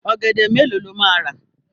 Ọ̀gẹ̀dẹ̀ mélòó ló máa rà?